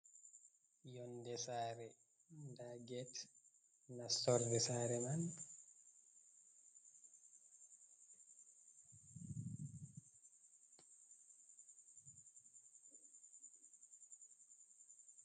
Yonde sare nda get nastor de sare man.